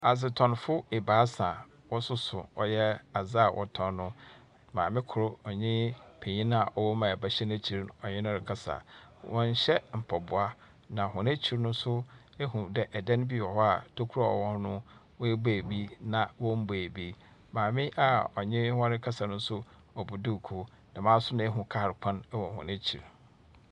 Adzetɔnfo ebaasa, wɔsoso ɔyɛ adze a wɔtɔn. Maame kor ɔnye panyin a ɔwom a ba hyɛ n'ekyir ɔne no rekasa. Wɔnhyɛ mpaboa. Na hɔn ekyir no nso, ehu dɛ dan bi wɔ hɔ a tokuro a ɔwɔ hɔ no woebue bi na wombuee bi. Maame a ɔne hɔn rekasa no, ɔbɔ duukuu. Hɔ nso na wohunu kaa kwan wɔ hɔn ekyir.